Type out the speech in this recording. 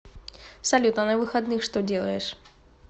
салют а на выходных что делаешь